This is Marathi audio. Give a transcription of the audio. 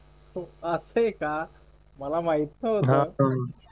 अह असं आहे का मला माहित नव्हतं